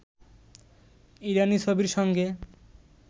ইরানি ছবির সঙ্গে